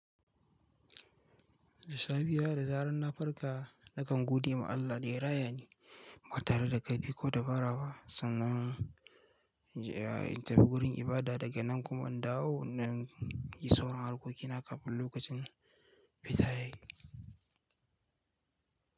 Da safiya da zarar na farka, nakan gode ma Allah da raya ni ba tare da ƙarfi ko dabara ba. Sannan in tafi gurin ibada daga nan kuma in dawo, na yi sauran harkokina kafin lokacin fita ya yi.